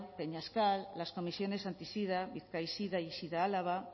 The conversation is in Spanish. peñascal las comisiones anti sida bizkaisida y sida álava